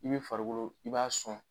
I bɛ farikolo i b'a sɔn